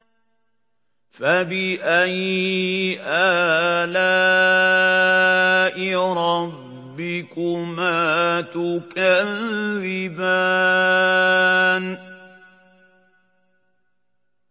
فَبِأَيِّ آلَاءِ رَبِّكُمَا تُكَذِّبَانِ